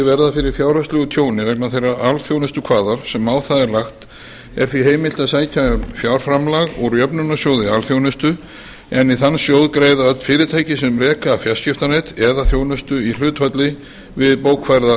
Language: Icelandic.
verða fyrir fjárhagslegu tjóni vegna þeirrar alþjónustukvaðar sem á það er lagt er því heimilt að sækja um fjárframlag úr jöfnunarsjóði alþjónustu en í þann sjóð greiða öll fyrirtæki sem reka fjarskiptanet eða þjónustu í hlutfalli við bókfærða